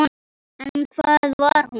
En hvað var nú?